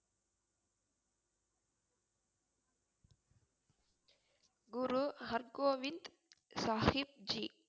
Guru Hargobind Sahibji